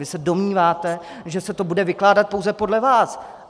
Vy se domníváte, že se to bude vykládat pouze podle vás.